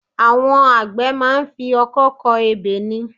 Àwọn àgbẹ̀ máa ń fi Ọkọ́ kọ ebè ni